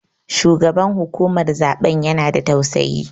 Shugaban hukumar zaɓen ya na da tausayi